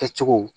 Kɛcogo